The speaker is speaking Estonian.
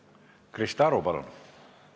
Krista Aru, palun!